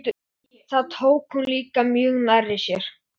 Þetta eru miklu erfiðari dagar en þau óraði fyrir.